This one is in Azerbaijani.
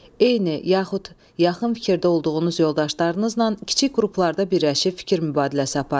Eyni yaxud yaxın fikirdə olduğunuz yoldaşlarınızla kiçik qruplarda birləşib fikir mübadiləsi aparın.